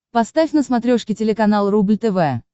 поставь на смотрешке телеканал рубль тв